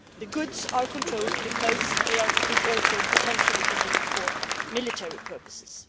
The goods are controlled because they could also potentially be used for military purposes.